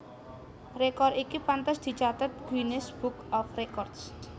Rekor iki pantes dicathet Guinness Book of Record